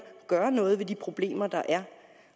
gøre noget ved de problemer der er